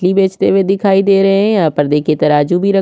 मछली बेचते हुए दिखाई दे रहे है यहाँ पर देखी तराजू भी रख--